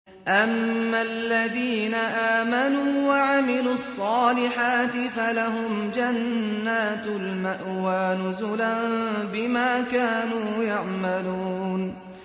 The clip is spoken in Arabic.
أَمَّا الَّذِينَ آمَنُوا وَعَمِلُوا الصَّالِحَاتِ فَلَهُمْ جَنَّاتُ الْمَأْوَىٰ نُزُلًا بِمَا كَانُوا يَعْمَلُونَ